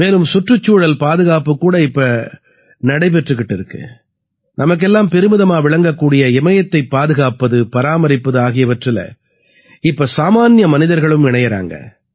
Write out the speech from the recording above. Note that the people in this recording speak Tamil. மேலும் சுற்றுச்சூழல் பாதுகாப்புக் கூட இப்ப நடைபெற்றுக்கிட்டு இருக்கு நமக்கெல்லாம் பெருமிதமா விளங்கக்கூடிய இமயத்தைப் பாதுகாப்பது பராமரிப்பது ஆகியவற்றில இப்ப சாமான்ய மனிதர்களும் இணையறாங்க